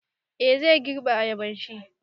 Eh, zai girbe ayabanshi